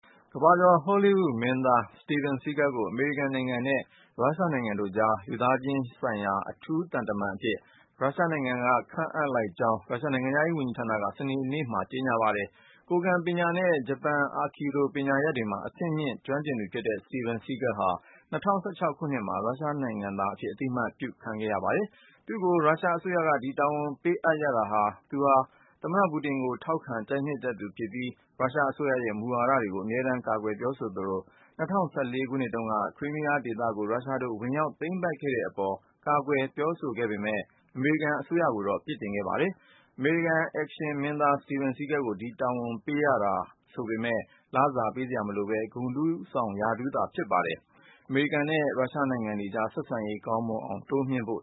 ကမ္ဘာကျော် ဟောလိဝုဒ်ရုပ်ရှင်မင်းသား Steven Seagal ကို အမေရိကန်နိုင်ငံနဲ့ ရုရှားနိုင်ငံတို့ကြား လူသားချင်းစာနာမှုဆိုင်ရာ အထူးသံတမန်အဖြစ် ရုရှားနိုင်ငံက ခန့်အပ်လိုက်ကြောင်း ရုရှားနိုင်ငံခြားရေးဝန်ကြီးဌာနက စနေနေ့က ကြေညာပါတယ်။ ကိုယ်ခံပညာနဲ့ ဂျပန် အာခီဒို ပညာရပ်တွေမှာ အဆင့်မြင့်ကျွမ်းကျင်သူဖြစ်တဲ့ Steven Seagal ဟာ ၂၀၁၆ ခုနှစ်မှာ ရုရှားနိုင်ငံ သားအဖြစ် အသိအမှတ်ပြုခံထားရတာပါ။ သူ့ကို ရုရှားအစိုးရက ဒီတာဝန်ပေးအပ်ရတာက သူဟာ သမ္မတပူတင်ကို ထောက်ခံ ကြိုက်နှစ်သက်သူဖြစ်ပြီး ရုရှားအစိုးရရဲ့ မူဝါဒတွေကို အမြဲတမ်းကာကွယ်ပြောဆိုသူဖြစ်သလို ၂၀၁၄ ခုနှစ်တုန်းက Crimea ဒေသကို ရုရှားတို့ ဝင်ရောက်သိမ်းပိုက်ခဲ့တဲ့ အပေါ် ကွာကွယ်ပြောပေမယ့် အမေရိကန်အစိုးရကိုတော့ အပြစ်တင်ပါတယ်။ အမေရိကန် အက်ရှင်မင်းသား Steven Seagal ကို ဒီတာဝန်ပေးအပ်တယ်ဆိုပေမယ့် လစာပေးမှာမဟုတ်ဘဲ ဂုဏ်ထူးဆောင် ရာထူးသာဖြစ်ပြီး ရုရှားနဲ့ အမေရိကန်နိုင်ငံတွေကြား ဆက်ဆံရေး ပိုမိုကောင်းမွန်အောင် တိုးမြှင့်ဖို့